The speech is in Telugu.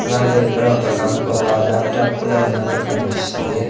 అలాగే ఇక్కడ ఒక కం ఒక లాప్టాప్ కూడా ఉన్నట్టు కన్పిస్తుంది.